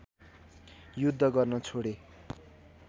युद्ध गर्न छोडे